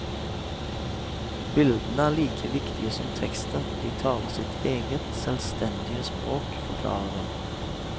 Bildene er like viktige som teksten, de taler sitt eget, selvstendige språk, forklarer hun.